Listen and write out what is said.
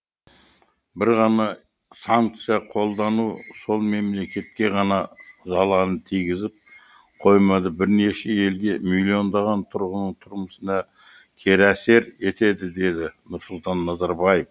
бір ғана санкция қолдану сол мемлекетке ғана залалын тигізіп қоймады бірнеше елге миллиондаған тұрғын тұрмысына кері әсер етеді деді нұрсұлтан назарбаев